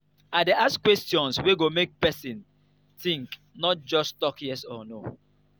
i dey ask questions wey go make pesin think no just tok yes or no.